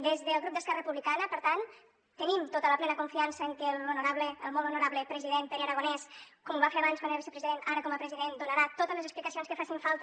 des del grup d’esquerra republicana per tant tenim tota la plena confiança en que el molt honorable president pere aragonès com ho va fer abans quan era vicepresident ara com a president donarà totes les explicacions que facin falta